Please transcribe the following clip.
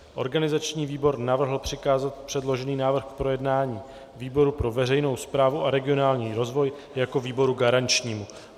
Organizační výbor navrhl přikázat předložený návrh k projednání výboru pro veřejnou správu a regionální rozvoj jako výboru garančnímu.